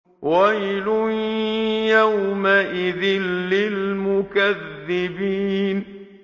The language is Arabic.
وَيْلٌ يَوْمَئِذٍ لِّلْمُكَذِّبِينَ